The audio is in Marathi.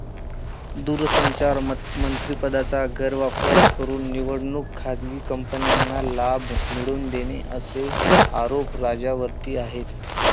दूरसंचार मंत्रिपदाचा गैरवापर करून निवडक खाजगी कंपन्यांना लाभ मिळवून देणे असे आरोप राजा वरती आहेत.